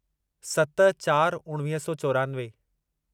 सत चार उणिवीह सौ चोरानवे